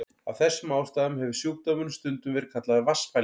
Af þessum ástæðum hefur sjúkdómurinn stundum verið kallaður vatnsfælni.